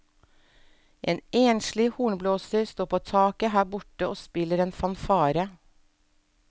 En enslig hornblåser står på taket her borte og spiller en fanfare.